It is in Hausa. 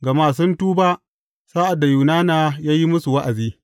Gama sun tuba sa’ad da Yunana ya yi musu wa’azi.